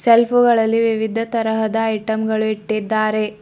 ಸೆಲ್ಪುಗಳಲ್ಲಿ ವಿವಿಧ ತರಹದ ಐಟಂ ಗಳು ಇಟ್ಟಿದ್ದಾರೆ.